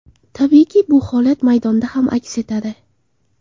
Tabiiyki, bu holat maydonda ham aks etadi.